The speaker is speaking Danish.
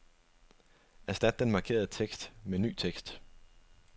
Erstat den markerede tekst med ny tekst.